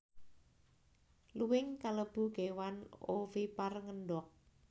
Luwing kalebu kéwan ovipar ngendhog